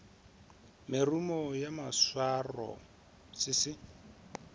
merumo ya maswaro se se